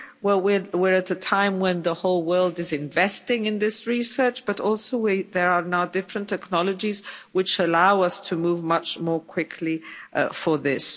Well, we are in a time when the whole world is investing in this research but also there are now different technologies which allow us to move much more quickly for this.